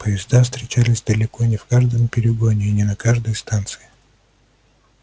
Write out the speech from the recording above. поезда встречались далеко не в каждом перегоне и не на каждой станции